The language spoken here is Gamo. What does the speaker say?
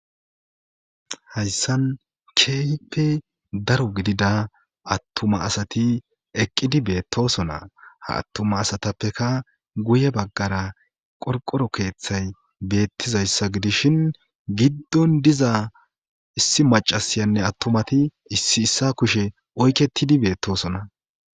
Hayssan keeyippe daro gidida attuma asati eqqidi beettosona ha attuma asatappeka guye baggara qorqoro keeththay beettizayssa gidishin giddon diza issi macasayanne attumati issi issa kushe oykettidi beettosona